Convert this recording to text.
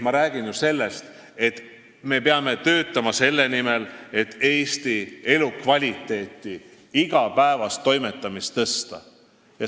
Ma räägin sellest, et me peame töötama selle nimel, et Eestis elukvaliteeti igapäevase toimetamise mõttes parandada.